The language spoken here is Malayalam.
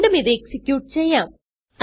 വീണ്ടും ഇത് എക്സിക്യൂട്ട് ചെയ്യാം